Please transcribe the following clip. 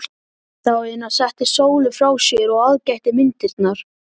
Daðína setti Sólu frá sér og aðgætti myndirnar.